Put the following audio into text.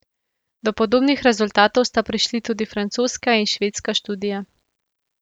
Do podobnih rezultatov sta prišli tudi francoska in švedska študija.